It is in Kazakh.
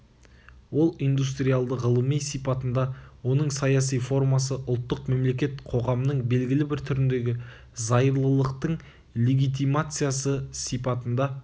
ол индустриалды ғылыми сипатында оның саяси формасы ұлттық мемлекет қоғамның белгілі бір түріндегі зайырлылықтың легитимациясы сипатында